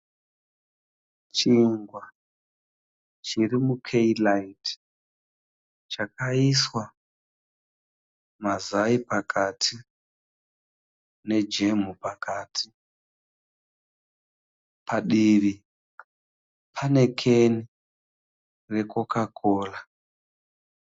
Chingwa chiri mukeyiraiti chakaiswa mazai pakati nejemu pakati. Padivi pane keni reCoca Cola.